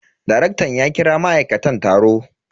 Darektan ya kira ma'aikatan taro.